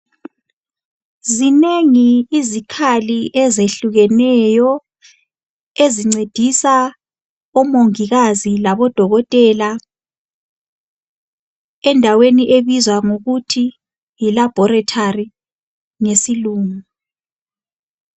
Zinengi izikhali ezehlukeneyo ezincedisa omongikazi labodokotela, endaweni okubizwa kuthiwa yilaboratory ngesilungu.